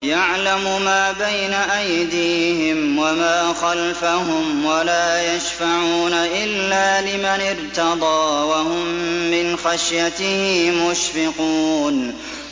يَعْلَمُ مَا بَيْنَ أَيْدِيهِمْ وَمَا خَلْفَهُمْ وَلَا يَشْفَعُونَ إِلَّا لِمَنِ ارْتَضَىٰ وَهُم مِّنْ خَشْيَتِهِ مُشْفِقُونَ